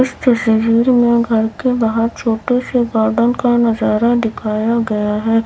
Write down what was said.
इस तस्वीर में घर के बाहर छोटे से गार्डन का नजारा दिखाया गया है।